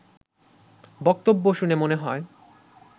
বক্তব্য শুনে মনে হয়